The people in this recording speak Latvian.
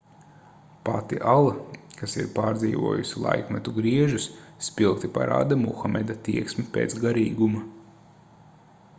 pati ala kas ir pārdzīvojusi laikmetu griežus spilgti parāda muhameda tieksmi pēc garīguma